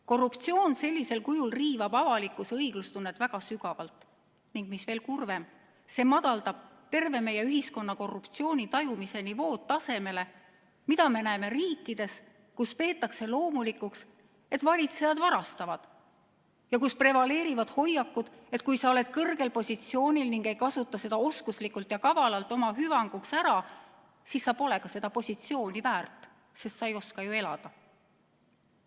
Korruptsioon sellisel kujul riivab avalikkuse õiglustunnet väga sügavalt ning, mis veel kurvem, see madaldab terve meie ühiskonna korruptsiooni tajumise nivood tasemele, mida me näeme riikides, kus peetakse loomulikuks, et valitsejad varastavad, ning kus prevaleerivad hoiakud, et kui sa oled kõrgel positsioonil ning ei kasuta seda oskuslikult ja kavalalt oma hüvanguks ära, siis sa pole ka seda positsiooni väärt, sest sa ei oska ju elada.